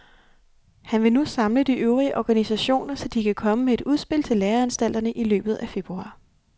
Han vil nu samle de øvrige organisationer, så de kan komme med et udspil til læreanstalterne i løbet af februar.